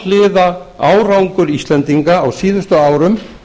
alhliða árangur íslendinga á síðustu árum